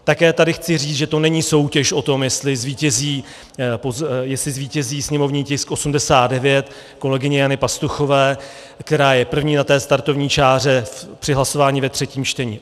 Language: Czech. Také tady chci říci, že to není soutěž o tom, jestli zvítězí sněmovní tisk 89 kolegyně Jany Pastuchové, která je první na té startovní čáře při hlasování ve třetím čtení.